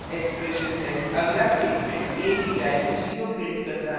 अगला statement a की value 0 prints करता है